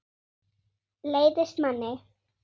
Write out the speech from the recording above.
Leiðist manni?